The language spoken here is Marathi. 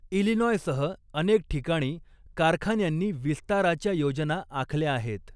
इलिनॉयसह अनेक ठिकाणी कारखान्यांनी विस्ताराच्या योजना आखल्या आहेत.